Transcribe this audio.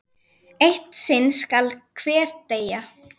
Eitt sinn skal hver deyja!